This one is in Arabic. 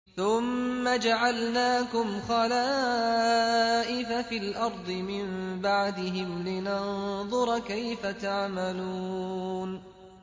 ثُمَّ جَعَلْنَاكُمْ خَلَائِفَ فِي الْأَرْضِ مِن بَعْدِهِمْ لِنَنظُرَ كَيْفَ تَعْمَلُونَ